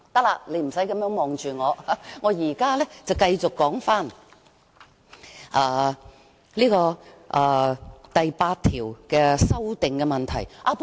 行，你不用這樣看着我，我現在繼續就第8條的修訂發言。